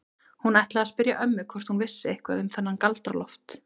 Hún ætlaði að spyrja ömmu hvort hún vissi eitthvað um þennan Galdra-Loft.